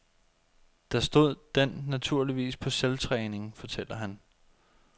Der stod den naturligvis på selvtræning, fortæller han.